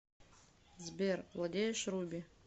сбер владеешь руби